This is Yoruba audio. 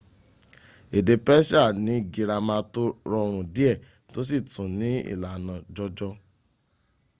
èdè persia ni gírámà tó rọrùn díẹ̀ tó sì tún ní ìlànà jọjọ